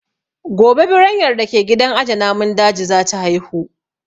Gobe Biranyar da ke gidan aje namun dajin za ta haihu